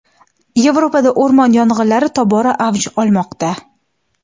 Yevropada o‘rmon yong‘inlari tobora avj olmoqda.